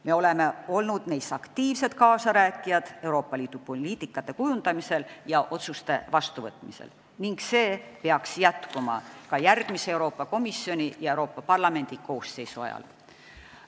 Me oleme olnud aktiivsed kaasarääkijad Euroopa Liidu poliitikate kujundamisel ja otsuste vastuvõtmisel ning see peaks jätkuma ka järgmise Euroopa Komisjoni ja Euroopa Parlamendi koosseisu ajal.